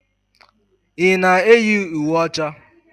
Ị na-eyi uwe ọcha?